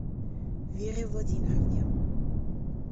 вере владимировне